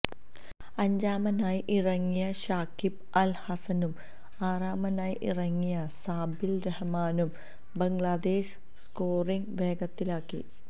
അഞ്ചാമനായി ഇറങ്ങിയ ശാക്കിബ് അല് ഹസ്സനും ആറാമനായി ഇറങ്ങിയ സാബില് റഹ്മാനും ബംഗ്ലാദേശ് സ്കോറിംഗ് വേഗത്തിലാക്കി